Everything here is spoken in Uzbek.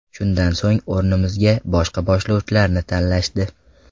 Shundan so‘ng, o‘rnimizga boshqa boshlovchilarni tanlashdi.